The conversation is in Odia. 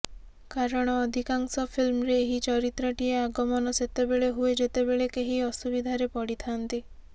କାରଣ ଅଧିକାଂଶ ଫିଲ୍ମରେ ଏହି ଚରିତ୍ରଟିର ଆଗମନ ସେତେବେଳେ ହୁଏ ଯେତେବେଳେ କେହି ଅସୁବିଧାରେ ପଡିଥାନ୍ତି